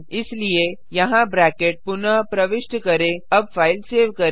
इसलिए यहाँ ब्रैकेट पुनः प्रविष्ट करें अब फाइल सेव करें